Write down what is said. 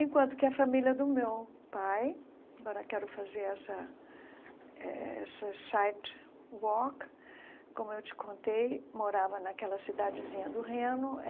Enquanto que a família do meu pai – agora quero fazer essa eh essa –, como eu te contei, morava naquela cidadezinha do Reno.